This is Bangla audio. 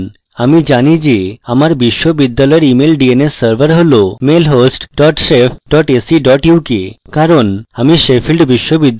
আমি জানি shef আমার বিশ্ববিদ্যালয়ের email dns server হল mailhost dot shef dot ac dot uk কারণ আমি sheffield বিশ্ববিদ্যালয়ে রয়েছি